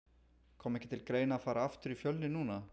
Kom ekki til greina að fara aftur í Fjölni núna?